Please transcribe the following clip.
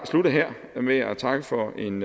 slutte her med at takke for en